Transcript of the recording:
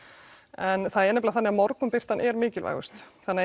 en það er nefnilega þannig að morgunbirtan er mikilvægust þannig að